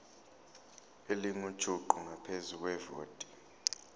elingujuqu ngaphezu kwevoti